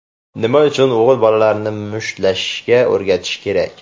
Nima uchun o‘g‘il bolalarni mushtlashishga o‘rgatish kerak?.